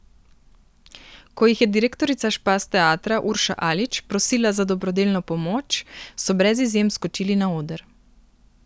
Ko jih je direktorica Špas teatra Urša Alič prosila za dobrodelno pomoč, so brez izjem skočili na oder.